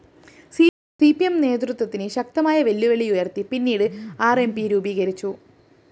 C P M നേതൃത്വത്തിന് ശക്തമായ വെല്ലുവിളി ഉയര്‍ത്തി പിന്നീട് ആർ എം പി രൂപീകരിച്ചു